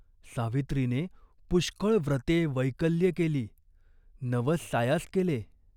सावित्रीने पुष्कळ व्रते वैकल्ये केली, नवस सायास केले.